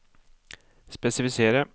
spesifisere